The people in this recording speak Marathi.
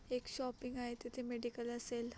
एक शॉपिंग आहे तिथे मेडिकल असेल.